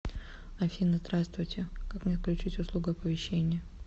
афина здравствуйте как мне отключить услугу оповещение